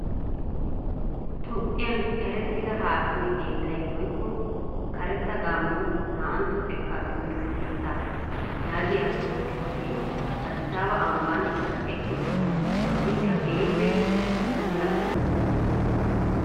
Toophphiyan erettida haakime keeettay woykko karetta gaamo naaantto xekkaa timirtte keettaa yaagiya xifatee addisaaba ambban kaqetti uttiis. ikka keehippe puulla